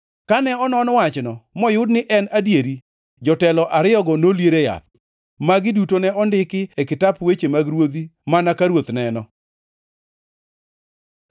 Kane onon wachno moyud ni en adieri, jotelo ariyogo nolier e yath. Magi duto ne ondiki e kitap weche mag ruodhi mana ka ruoth neno.